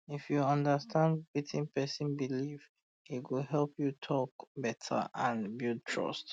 if you understand um wetin person believe e go help you talk um better and build trust